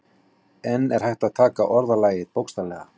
En er hægt að taka orðalagið bókstaflega?